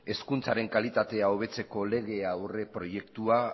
hezkuntzaren kalitatea hobetzeko lege aurreproiektua